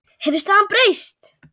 Hefur staðan breyst?